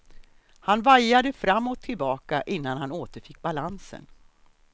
Han vajade fram och tillbaka innan han återfick balansen.